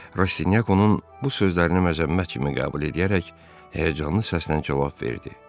Rastinyak onun bu sözlərini məzəmmət kimi qəbul eləyərək həyəcanlı səslə cavab verdi.